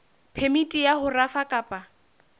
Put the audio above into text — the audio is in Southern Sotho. phemiti ya ho rafa kapa